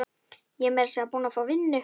Ég er meira að segja búin að fá vinnu.